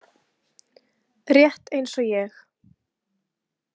Rétt eins og ég.